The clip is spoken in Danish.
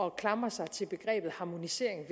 at klamre sig til begrebet harmonisering